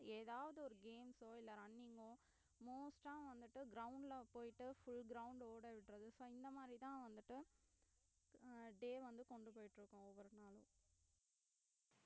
ஏதாவது ஒரு games ஓ இல்லை running ஓ most ஆ வந்துட்டு ground ல போயிட்டு full ground ஓடவிட்டறது so இந்த மாதிரிதான் வந்துட்டு அஹ் day வந்து கொண்டு போயிட்டு இருக்கோம் ஒவ்வொரு நாளும்